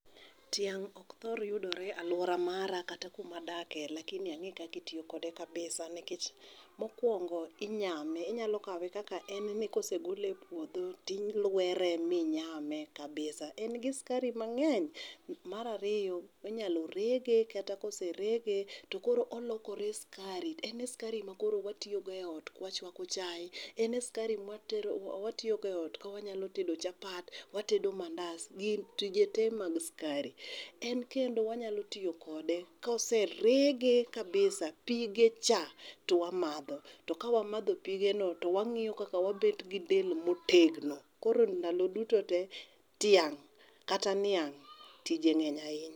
Tiang' ok thor yudore e aluora mara kata kuma adakie lakini ang'eyo kaka itiyo kode kabisa nikech mokuongo inyame inyalo kawe kaka en ni kosegole e puodho to ilwere minyame kabisa en gi sikari mang'eny. Mar ariyo inyalo rege kata kose rege to koro olokore sikari. En sikari makoro watiyogo eot, wachuako chae. En sikari matero mawatiyo go eot kawanyalo tedo chapa, watedo mandas gi tije tee mag sukari. En kendo wanyalo tiyo kode kose rege kabisa, pige cha to wamadho to ka wamadho pige no to wang'iyo kaka wabet gi del motegno koro ndalo duto te tiang' kata niang' tije ng'eny ahinya.